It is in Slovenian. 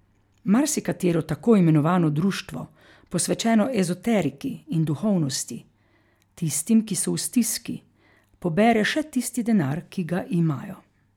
Marsikatero tako imenovano društvo, posvečeno ezoteriki in duhovnosti, tistim, ki so v stiski, pobere še tisti denar, ki ga imajo.